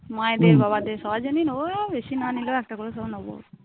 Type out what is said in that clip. মায়েদের বাবাদের সবার জন্যই নেব, বেশি না নিলেও একটা করে সব নেব।